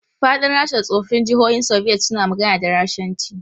Faɗin Rasha da tsoffin jihohin Soviet suna magana da Rashanci.